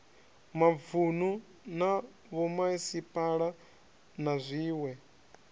mavunu na vhomasipala na zwiwe